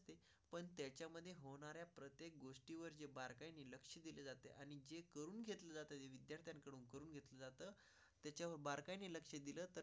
त्याच्या बारकाईने लक्ष दिलं तर?